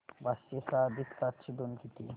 पाचशे सहा अधिक सातशे दोन किती